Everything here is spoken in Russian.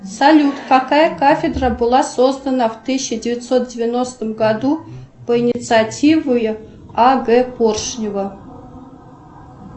салют какая кафедра была создана в тысяча девятьсот девяностом году по инициативе а г поршнева